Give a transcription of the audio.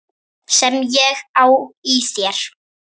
Sem ég á í þér.